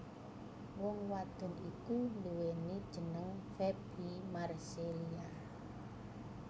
Wong wadon iki nduweni jeneng Faby Marcelia